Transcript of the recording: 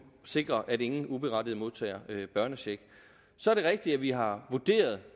sikre at ingen uberettiget modtager børnecheck så er det rigtigt at vi har vurderet